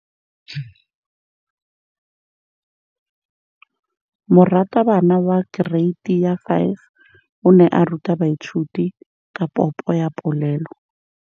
Moratabana wa kereiti ya 5 o ne a ruta baithuti ka popô ya polelô.